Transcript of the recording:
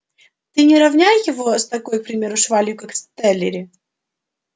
ты не равняй его с такой к примеру швалью как стеллери